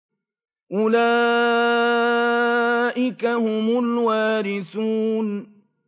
أُولَٰئِكَ هُمُ الْوَارِثُونَ